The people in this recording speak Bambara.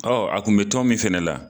Ɔɔ a kun be tɔn min fɛnɛ la